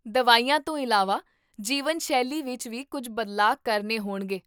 ਦਵਾਈਆਂ ਤੋਂ ਇਲਾਵਾ, ਜੀਵਨਸ਼ੈਲੀ ਵਿੱਚ ਵੀ ਕੁੱਝ ਬਦਲਾਅ ਕਰਨੇ ਹੋਣਗੇ